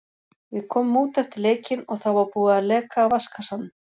Við komum út eftir leikinn og þá var búið að leka af vatnskassanum.